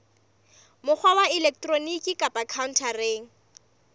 mokgwa wa elektroniki kapa khaontareng